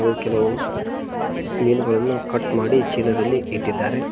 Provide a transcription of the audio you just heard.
ನು ಕೆಲವು ಮೀನುಗಳನ್ನು ಕಟ್ ಮಾಡಿ ಚೀಲದಲ್ಲಿ ಇಟ್ಟಿದ್ದಾರೆ.